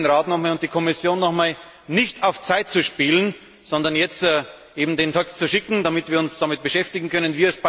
Ich bitte den Rat und die Kommission noch einmal, nicht auf Zeit zu spielen, sondern jetzt den Text zu schicken, damit wir uns damit beschäftigen können.